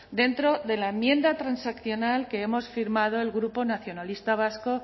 dentro de la enmienda transaccional que hemos firmado el grupo nacionalista vasco